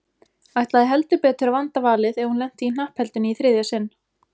Ætlaði heldur betur að vanda valið ef hún lenti í hnappheldunni í þriðja sinn.